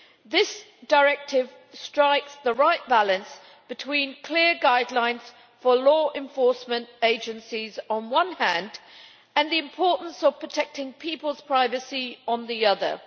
This directive strikes the right balance between clear guidelines for law enforcement agencies on the one hand and the importance of protecting people's privacy on the other.